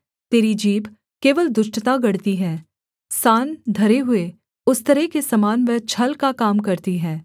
तेरी जीभ केवल दुष्टता गढ़ती है सान धरे हुए उस्तरे के समान वह छल का काम करती है